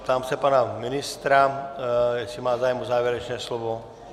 Ptám se pana ministra, jestli má zájem o závěrečné slovo.